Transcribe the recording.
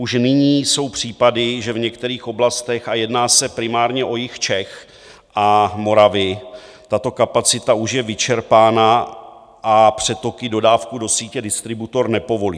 Už nyní jsou případy, že v některých oblastech - a jedná se primárně o jih Čech a Moravy - tato kapacita už je vyčerpána a přetoky dodávky do sítě distributor nepovolí.